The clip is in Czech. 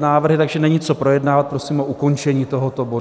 návrhy, takže není co projednávat, prosím o ukončení tohoto bodu.